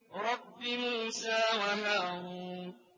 رَبِّ مُوسَىٰ وَهَارُونَ